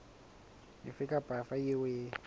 efe kapa efe eo e